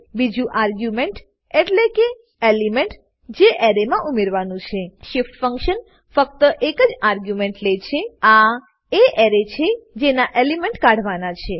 બીજું આર્ગ્યુમેન્ટ એટલેકે એલિમેન્ટ જે એરેમાં ઉમેરવાનું છે shift functionફક્ત એક જ આર્ગ્યુમેન્ટ લે છે આ એ એરે છે જેના એલિમેન્ટ કાઢવાના છે